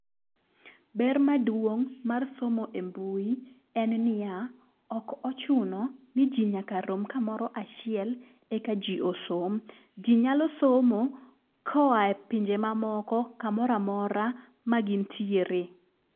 Ber maduong' mar somo e mbui en niya , ok ochuno ni jii nyaka rom kamoro achiek eka jii osom. Jii nyalo somo koa e pinje mamoko kamoro amora ma gintiere.